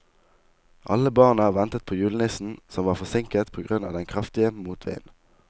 Alle barna ventet på julenissen, som var forsinket på grunn av den kraftige motvinden.